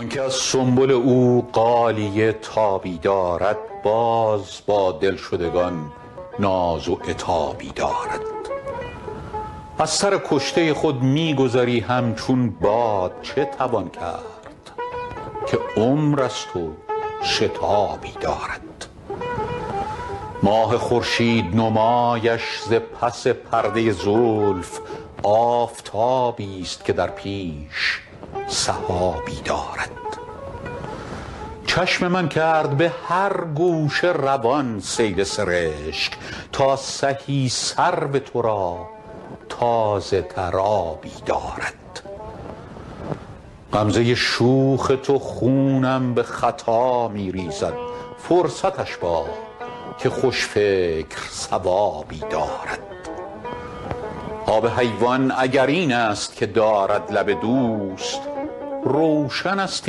آن که از سنبل او غالیه تابی دارد باز با دلشدگان ناز و عتابی دارد از سر کشته خود می گذری همچون باد چه توان کرد که عمر است و شتابی دارد ماه خورشید نمایش ز پس پرده زلف آفتابیست که در پیش سحابی دارد چشم من کرد به هر گوشه روان سیل سرشک تا سهی سرو تو را تازه تر آبی دارد غمزه شوخ تو خونم به خطا می ریزد فرصتش باد که خوش فکر صوابی دارد آب حیوان اگر این است که دارد لب دوست روشن است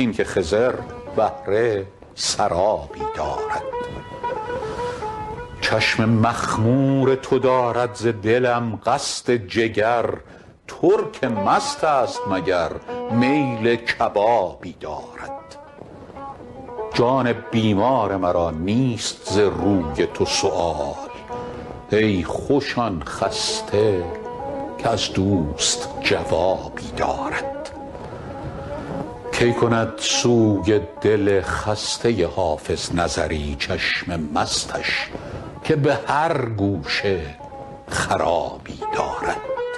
این که خضر بهره سرابی دارد چشم مخمور تو دارد ز دلم قصد جگر ترک مست است مگر میل کبابی دارد جان بیمار مرا نیست ز تو روی سؤال ای خوش آن خسته که از دوست جوابی دارد کی کند سوی دل خسته حافظ نظری چشم مستش که به هر گوشه خرابی دارد